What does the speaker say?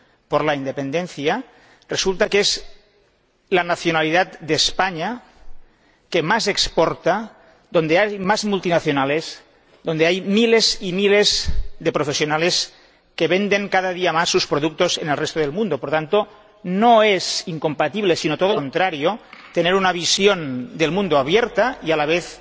sobre la independencia— es la nacionalidad de España cuya economía más exporta, donde hay más multinacionales y donde hay miles y miles de profesionales que venden cada día más sus productos en el resto el mundo. Por lo tanto, no es incompatible, sino todo lo contrario, tener una visión del mundo abierta y a la vez